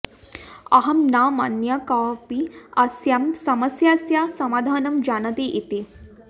अहं न मन्ये कोऽपि अस्याः समस्यायाः समाधनं जानाति इति